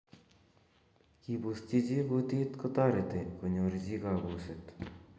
Kibusyi chi kutuit kotoret konyor chi kabuset.